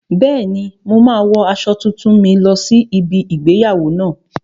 Bẹ́ẹ̀ni, mo máa wo aṣọ tuntun mi lọ sí ibi igbéyàwó náà